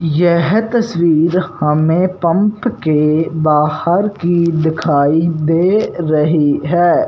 यह तस्वीर हमें पंप के बाहर की दिखाई दे रही है।